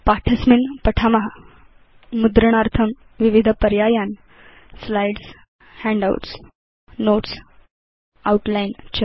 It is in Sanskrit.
पाठे अस्मिन् पठाम मुद्रणार्थं विविधपर्यायान् स्लाइड्स् हैण्डआउट्स् Notes Outline च